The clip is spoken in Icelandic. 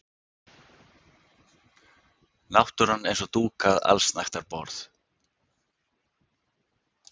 Náttúran eins og dúkað allsnægtaborð.